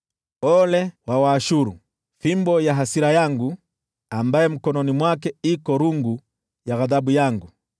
“Ole kwa Ashuru, fimbo ya hasira yangu, ambaye mkononi mwake ana rungu ya ghadhabu yangu!